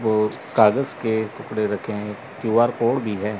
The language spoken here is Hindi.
वो कागज के टुकड़े रखे हैं क्यू_आर कोड भी है।